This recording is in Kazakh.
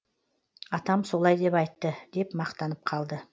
атам солай деп айтты деп мақтанып қалды